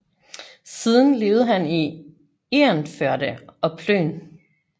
Siden levede han i Egernførde og Plön